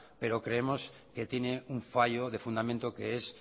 pero creemos que tiene un fallo de fundamento que es